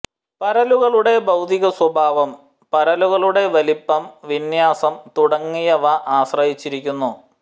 പരലുകളുടെ ഭൌതിക സ്വഭാവം പരലുകളുടെ വലിപ്പം വിന്യാസം തുടങ്ങിയവ ആശ്രയിച്ചിരിക്കുന്നു